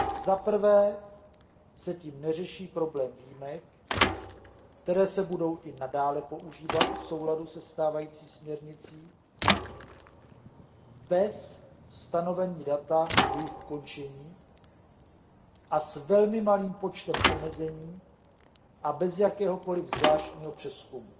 Za prvé se tím neřeší problém výjimek, které se budou i nadále používat v souladu se stávající směrnicí bez stanovení data jejich ukončení a s velmi malým počtem omezení a bez jakéhokoliv zvláštního přezkumu.